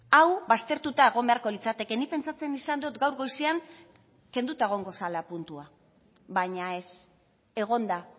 hau baztertuta egon beharko litzateke nik pentsatzen izan dut gaur goizean kenduta egongo zela puntua baina ez egon da